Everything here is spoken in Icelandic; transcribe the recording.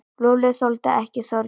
Lúlli þoldi ekki Þorgeir.